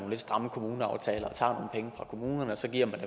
stramme kommuneaftaler og tager penge fra kommunerne og så giver man